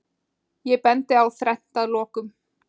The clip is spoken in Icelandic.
Ég bendi á þrennt að lokum.